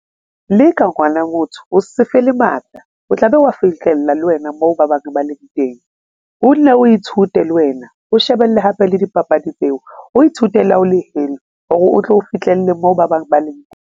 Le ka ngwana motho o se fele matla, o tlabe o wa fihlella le wena moo ba bang ba leng teng o nne o ithute le wena, o shebelle hape le dipapadi tseo, o ithute la o le heno hore o tlo fihlelle moo ba bang ba leng.